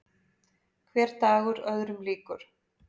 Hver dagur öðrum líkur.